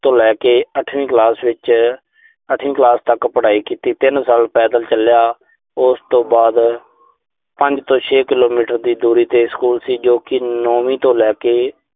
ਤੋਂ ਲੈ ਕੇ ਅੱਠਵੀਂ ਕਲਾਸ ਵਿੱਚ, ਅੱਠਵੀਂ ਕਲਾਸ ਤੱਕ ਪੜਾਈ ਕੀਤੀ। ਤਿੰਨ ਸਾਲ ਪੈਦਲ ਚੱਲਿਆ। ਉਸ ਤੋਂ ਬਾਅਦ ਪੰਜ ਤੋਂ ਛੇ ਕਿਲੋਮੀਟਰ ਦੀ ਦੂਰੀ ਤੇ ਸਕੂਲ ਸੀ ਜੋ ਕਿ ਨੌਵੀਂ ਤੋਂ ਲੈ ਕੇ